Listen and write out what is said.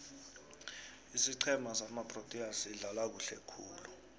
isiqhema samaproteas sidlala kuhle khulu